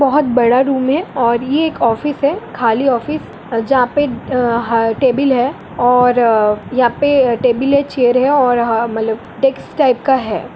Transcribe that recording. बहुत बड़ा रूम है और ये एक ऑफिस है खाली ऑफिस जहाँ पे टेबल है और यहाँ पे टेबल है चेयर है और मतलब डेस्क टाइप का है।